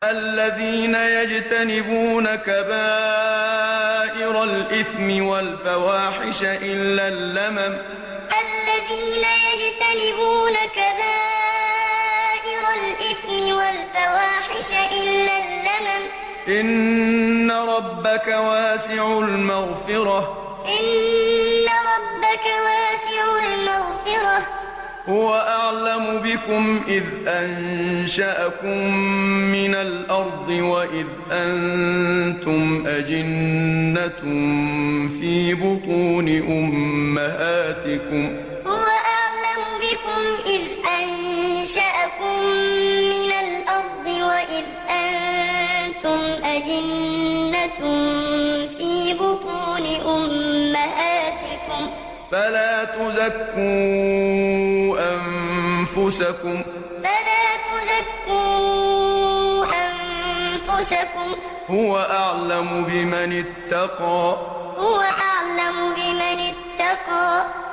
الَّذِينَ يَجْتَنِبُونَ كَبَائِرَ الْإِثْمِ وَالْفَوَاحِشَ إِلَّا اللَّمَمَ ۚ إِنَّ رَبَّكَ وَاسِعُ الْمَغْفِرَةِ ۚ هُوَ أَعْلَمُ بِكُمْ إِذْ أَنشَأَكُم مِّنَ الْأَرْضِ وَإِذْ أَنتُمْ أَجِنَّةٌ فِي بُطُونِ أُمَّهَاتِكُمْ ۖ فَلَا تُزَكُّوا أَنفُسَكُمْ ۖ هُوَ أَعْلَمُ بِمَنِ اتَّقَىٰ الَّذِينَ يَجْتَنِبُونَ كَبَائِرَ الْإِثْمِ وَالْفَوَاحِشَ إِلَّا اللَّمَمَ ۚ إِنَّ رَبَّكَ وَاسِعُ الْمَغْفِرَةِ ۚ هُوَ أَعْلَمُ بِكُمْ إِذْ أَنشَأَكُم مِّنَ الْأَرْضِ وَإِذْ أَنتُمْ أَجِنَّةٌ فِي بُطُونِ أُمَّهَاتِكُمْ ۖ فَلَا تُزَكُّوا أَنفُسَكُمْ ۖ هُوَ أَعْلَمُ بِمَنِ اتَّقَىٰ